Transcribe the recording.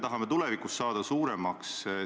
Ma arvan – samuti ilma naljata –, et see on tõsine teema.